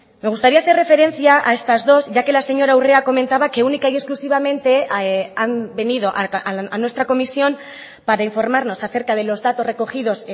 me gustaría hacer referencia a estas dos ya que la señora urrea comentaba que única y exclusivamente han venido a nuestra comisión para informarnos acerca de los datos recogidos